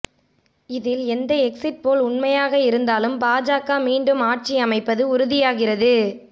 இதில் எந்த எக்சிட்போல் உண்மையாக இருந்தாலும் பாஜக மீண்டும் ஆட்சி அமைப்பது உறுதியாகிறது